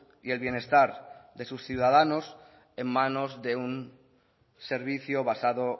y el bienestar de sus ciudadanos en manos de un servicio basado